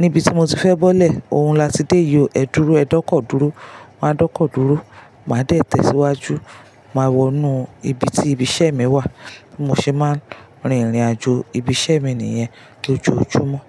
níbi tí mo ti fẹ́ bọ́lẹ̀, òun la ti dé yió. Ẹ dúró, ẹ dọ́kọ̀ dúró." Máa dọ́kọ̀ dúró, màá dẹ̀ tẹ̀ síwájú, màá wọnú ibi tí ibi iṣẹ́ mi wà. Bi mo se máa ń rin ìrìnàjò ibi iṣẹ́ mi nìyẹn lójoójúmọ́.